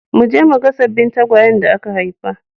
Mu je mu ga sabbin tagwayen da aka haifa.